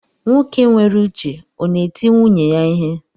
Nwoke nwere uche ọ na eti nwunye ya ihe?